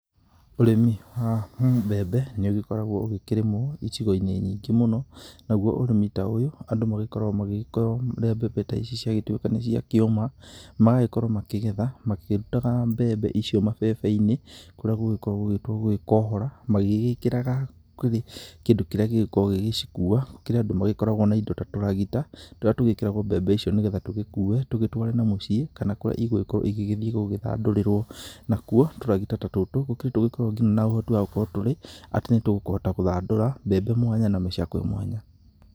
Ũrĩmi wa mbembe nĩ ũgĩkoragwo ũgĩkĩrĩmwo icigo-inĩ nyingĩ mũno, naguo ũrĩmi ta ũyũ andũ magĩgĩkoragwo magĩkorwo rĩrĩ mbembe ta ici ciagĩtuĩka nĩ ciakĩũma. Magagĩkorwo makĩgetha makĩrutaga mbembe icio mabebe-inĩ kũrĩa gũgĩkoragwo gũgĩtwo gũgĩkohora. Magĩkĩraga kĩndũ kĩrĩa gĩgĩkoragwo gĩgĩcikua, kũrĩ andũ magĩkoragwo na indo ta tũragita. Tũrĩa tũgĩkĩragwo mbembe icio nĩ getha tũgĩkue tugĩtware na mũciĩ kana kũrĩa igũgĩkorwo igĩgĩthiĩ gũgĩthandũrĩrwo. Nakuo tũragita ta tũtũ nĩ kũrĩ tũgĩkoragwo ngina na ũhoti wagũkorwo tũrĩ atĩ nĩ tũkũhota gũthandũra mbembe mwanya na mĩcakwe mwanya.